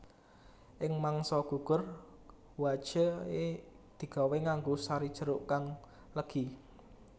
Ing mangsa gugur hwachae digawé nganggo sari jeruk kang legi